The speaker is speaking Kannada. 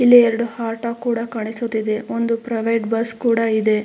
ಇಲ್ಲಿ ಎರಡು ಹಟೋ ಕೂಡ ಕಾಣಿಸುತ್ತಿದೆ ಒಂದು ಪ್ರೈವೇಟ್ ಬಸ್ ಕೂಡ ಇದೆ.